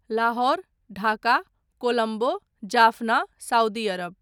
Lahore, Dhaka, Colombo, Jaffna, Saudi Arab